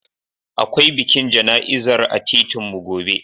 Akwai bikin jana'izar a titinmu gobe.